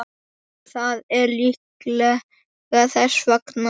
Það er líklega þess vegna.